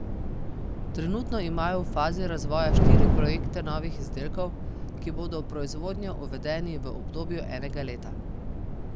Trenutno imajo v fazi razvoja štiri projekte novih izdelkov, ki bodo v proizvodnjo uvedeni v obdobju enega leta.